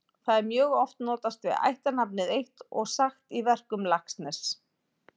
Þá er mjög oft notast við ættarnafnið eitt og sagt í verkum Laxness.